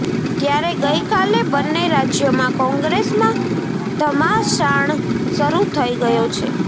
ત્યારે ગઈકાલે બંને રાજયોમાં કોંગ્રેસમાં ધમાસાણ શરૂ થઈ ગયો છે